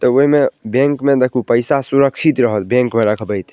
त उहे में बैंक में देखहु पईसा सुरक्षित रहल बैंक में रखबई त।